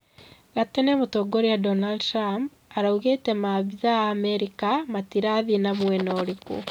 gatene mũtongoria Donald Trump araugĩte maabitha ma Amerika matĩrathii na mwena urĩkũ